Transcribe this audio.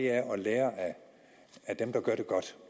er at lære af dem der gør det godt